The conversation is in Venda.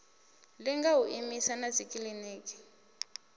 linga u imisa na dzikiḽiniki